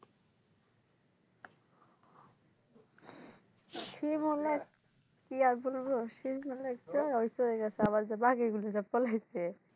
শিমুল এক কি আর বলব শিমুলের তো হইয়া গেছে আবার যে বাঘের গল্লি দিয়া পলাইছে